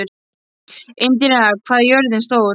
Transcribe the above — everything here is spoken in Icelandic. Indíra, hvað er jörðin stór?